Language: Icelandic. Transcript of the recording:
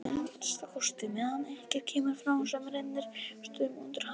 Að minnsta kosti meðan ekkert kemur fram sem rennir stoðum undir hana.